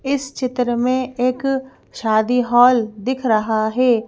इस चित्र में एक शादी हॉल दिख रहा है।